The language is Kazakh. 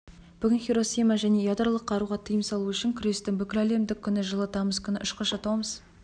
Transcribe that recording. бүгін хиросима және ядролық қаруға тыйым салу үшін күрестің бүкіләлемдік күні жылы тамыз күні ұшқышы томас